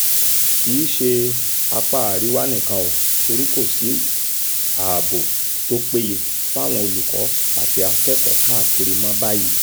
kì í ṣe apá àríwá nìkan ò torí kò sí ààbò tó péye fáwọn olùkọ́ àti akẹ́kọ̀ọ́ káàkiri mọ́ báyìí